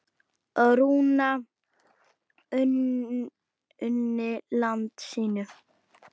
Rúna unni landi sínu.